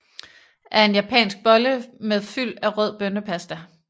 er en japansk bolle med fyld af rød bønnepasta